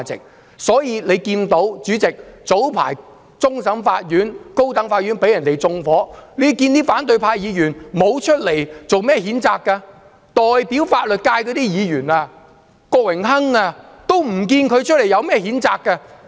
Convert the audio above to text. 主席，所以大家看到，早前終審法院及高等法院被人縱火，反對派議員沒有作出譴責，代表法律界的郭榮鏗議員也沒有出來譴責。